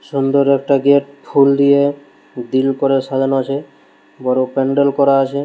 সুন্দর একটা গেট ফুল দিয়ে দিল করে সাজানো আছে বড় প্যান্ডেল করা আছে ।